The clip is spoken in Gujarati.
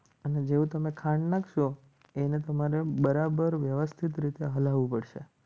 અને જેવું તમે ખાંડ નાખશો એને તો મારે બરાબર વ્યવસ્થિત રીતે હલાવું પડશે.